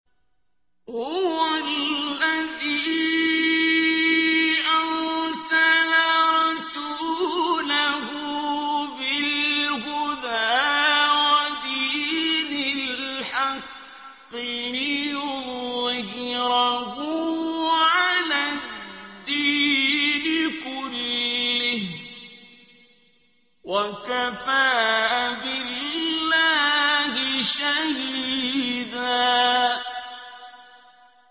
هُوَ الَّذِي أَرْسَلَ رَسُولَهُ بِالْهُدَىٰ وَدِينِ الْحَقِّ لِيُظْهِرَهُ عَلَى الدِّينِ كُلِّهِ ۚ وَكَفَىٰ بِاللَّهِ شَهِيدًا